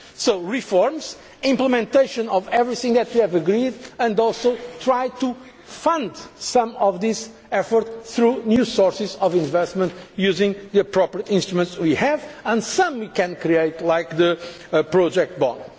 economy. So, reforms, implementation of everything that we have agreed as well as trying to fund some of this effort through new sources of investment, using the appropriate instruments we have and some we can create, such as the project